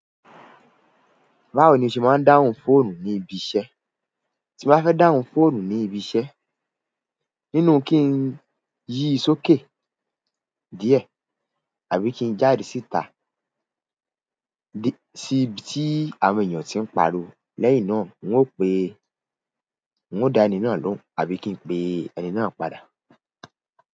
Báwo ni o ṣe máa ń dáhùn fóònù ní ibi iṣẹ́? Tí mo bá fẹ́ dáhùn fóònù ní ibi iṣẹ́, nínú kí n yí i sókè díẹ̀ àbí kí n jáde síta si ibi ti àwọn ènìyàn ti n pariwo, lẹyon náà n o pe, n ó da ẹni náà lohun àbí ki n pe ẹni náà padà.